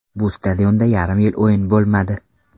Bu stadionda yarim yil o‘yin bo‘lmadi.